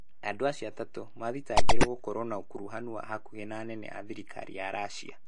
Andũ acio atatũ maathitangĩirũo gũkorũo na ũkuruhanu wa hakuhĩ na anene a thirikari ya Russia.